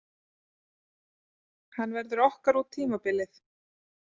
Hann verður okkar út tímabilið.